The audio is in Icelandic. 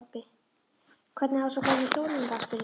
Hvernig hafa svo gömlu hjónin það? spurði pabbi.